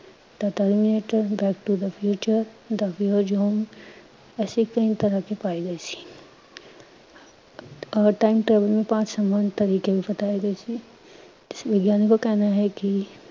backtothefuture ਐਸੇ ਕਈ ਤਰ੍ਹਾਂ ਕੀ ਫਾਈਲੇਂ ਥੀ ਔਰ time travel ਮੇਂ ਪਾਂਚ ਤਰੀਕੇ ਵੀ ਬਤਾਏ ਗਏ ਸੀ। ਵਿਗਿਆਨਿਕੋਂ ਕਾ ਕਹਿਨਾ ਹੈ ਕੀ